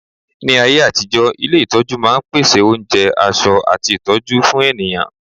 ní ayé àtijó, ilé itọju ma n pèsè onjẹ, aṣọ ati ìtọjú fún ènìyàn